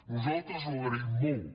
nosaltres ho agraïm molt